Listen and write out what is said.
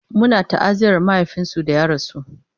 Muna ta'aziyar mahaifinsu da ya rasu